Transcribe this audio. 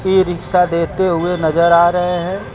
ई rickshaw देते हुए नजर आ रहे हैं।